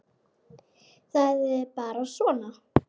Það er bara svona!